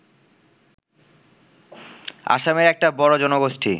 আসামের একটা বড় জনগোষ্ঠী